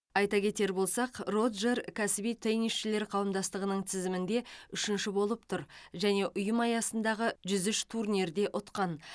айта кетер болсақ роджер кәсіби теннисшілер қауымдастығының тізімінде үшінші болып тұр және ұйым аясындағы жүз үш турнирде ұтқан